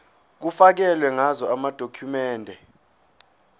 kufakelwe ngazo amadokhumende